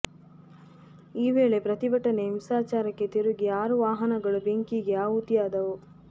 ಈ ವೇಳೆ ಪ್ರತಿಭಟನೆ ಹಿಂಸಾಚಾರಕ್ಕೆ ತಿರುಗಿ ಆರು ವಾಹನಗಳು ಬೆಂಕಿಗಿ ಆಹುತಿಯಾದವು